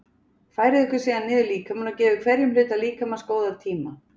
Færið ykkur síðan niður líkamann og gefið hverjum hluta líkamans góðan tíma.